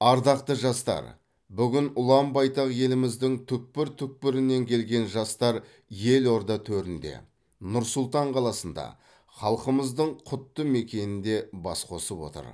ардақты жастар бүгін ұлан байтақ еліміздің түкпір түкпірінен келген жастар елорда төрінде нұр сұлтан қаласында халқымыздың құтты мекенінде бас қосып отыр